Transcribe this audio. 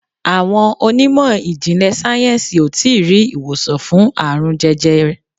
Awọn onímọ̀ ijinle sayensi o tii ri iwosan fun aarun jẹjẹrẹ